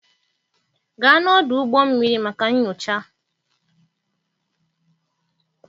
Gaa n'ọdụ ụgbọ mmiri maka nyocha.